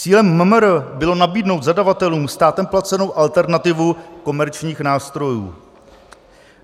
Cílem MMR bylo nabídnout zadavatelům státem placenou alternativu komerčních nástrojů."